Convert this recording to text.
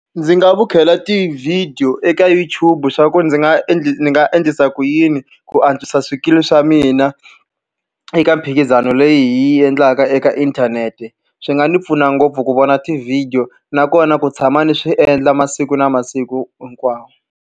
Ndzi nga vukhela tivhidiyo eka YouTube leswaku ndzi nga ndzi nga endlisa ku yini ku antswisa swikili swa mina eka mphikizano leyi yi endlaka eka inthanete. Swi nga ni pfuna ngopfu ku vona ti-video, nakona ku tshama ni swi endla masiku na masiku hinkwawo.